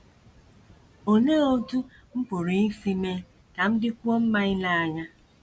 Olee Otú M Pụrụ Isi Mee Ka M Dịkwuo Mma Ile Anya?